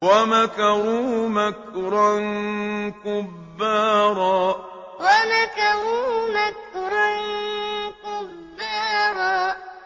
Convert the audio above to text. وَمَكَرُوا مَكْرًا كُبَّارًا وَمَكَرُوا مَكْرًا كُبَّارًا